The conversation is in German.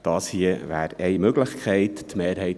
Dies hier ist eine Möglichkeit dazu.